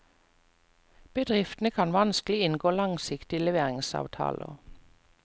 Bedriftene kan vanskelig inngå langsiktige leveringsavtaler.